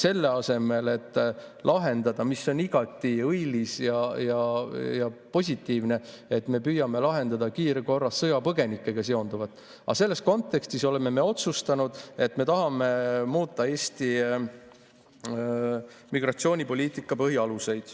Selle asemel et lahendada, on igati õilis ja positiivne, kiirkorras sõjapõgenikega seonduvat, oleme me selles kontekstis otsustanud, et me tahame muuta Eesti migratsioonipoliitika põhialuseid.